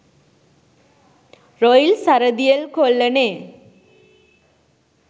Royal Saradiel කොල්ලනේ.